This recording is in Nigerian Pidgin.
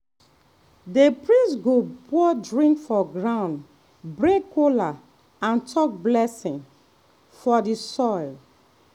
the priest go pour drink for ground break kola and talk blessing for the soil.